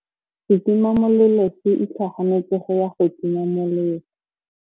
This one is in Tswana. Setima molelô se itlhaganêtse go ya go tima molelô.